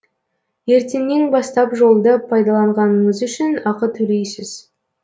ертеңнен бастап жолды пайдаланғаныңыз үшін ақы төлейсіз